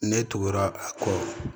Ne tugura a kɔ